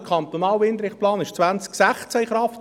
Der kantonale Windrichtplan trat 2016 in Kraft.